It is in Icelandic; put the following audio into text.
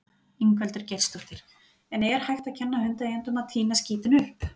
Ingveldur Geirsdóttir: En er hægt að kenna hundaeigendum að tína skítinn upp?